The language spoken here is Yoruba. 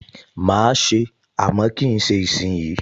Mà á se é, àmọ́ kì í ṣe ìsìnyí